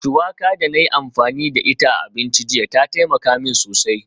Shuwaka da na yi amfani da ita a abinci jiya ta taimaka min sosai